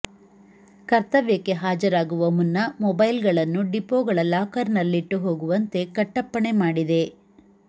ಕರ್ತವ್ಯಕ್ಕೆ ಹಾಜರಾಗುವ ಮುನ್ನ ಮೊಬೈಲ್ಗಳನ್ನು ಡಿಪೋಗಳ ಲಾಕರ್ನಲ್ಲಿಟ್ಟು ಹೋಗುವಂತೆ ಕಟ್ಟಪ್ಪಣೆ ಮಾಡಿದೆ